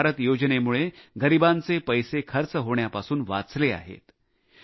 आयुष्मान भारत योजनेमुळे गरिबांचे पैसे खर्च होण्यापासून वाचले आहेत